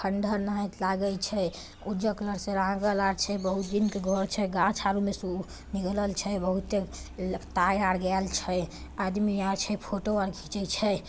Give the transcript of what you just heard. खण्डहर नहित लगाई छै। उजर कलर से रंगल आ छै। बहुत दिन के घर छै। गाछ अरु में से निकलल छै बहुतै तार वॉर गयल छै आदमी और छै फोटो घिचै छै।